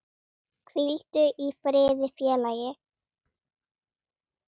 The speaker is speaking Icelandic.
Hvíldu í friði félagi.